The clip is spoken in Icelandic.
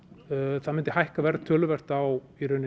það myndi hækka verð töluvert á